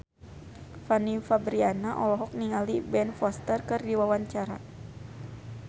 Fanny Fabriana olohok ningali Ben Foster keur diwawancara